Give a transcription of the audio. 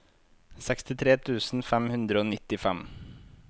sekstitre tusen fem hundre og nittifem